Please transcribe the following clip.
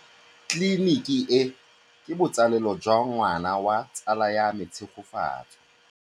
Tleliniki e, ke botsalêlô jwa ngwana wa tsala ya me Tshegofatso.